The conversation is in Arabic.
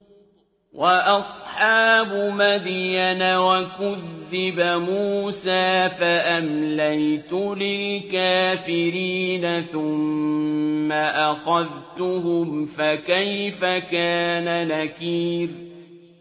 وَأَصْحَابُ مَدْيَنَ ۖ وَكُذِّبَ مُوسَىٰ فَأَمْلَيْتُ لِلْكَافِرِينَ ثُمَّ أَخَذْتُهُمْ ۖ فَكَيْفَ كَانَ نَكِيرِ